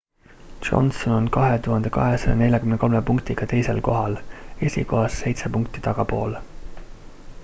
johnson on 2243 punktiga teisel kohal esikohast seitse punkti tagapool